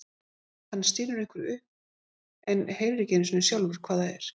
Hann stynur einhverju upp en heyrir ekki einu sinni sjálfur hvað það er.